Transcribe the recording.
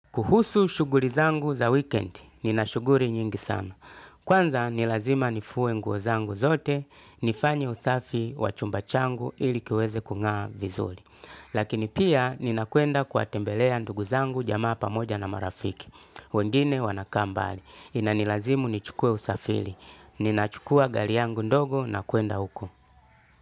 Kuhusu shuguri zangu za weekend, nina shuguri nyingi sana. Kwanza nilazima nifue nguo zangu zote, nifanye usafi wa chumba changu ili kiweze kungaa vizuli. Lakini pia nina kwenda kuwatembelea ndugu zangu jamaa pamoja na marafiki. Wengine wanakaa mbali, inanilazimu nichukue usafili. Ninachukua gari yangu ndogo na kuenda huko.